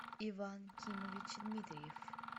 иван кимович дмитриев